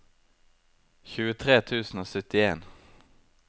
tjuetre tusen og syttien